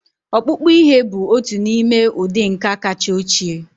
Ọkpụkpụ ihe bụ otu n'ime ụdị nka kacha ochie